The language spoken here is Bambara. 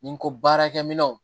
Ni n ko baarakɛminɛnw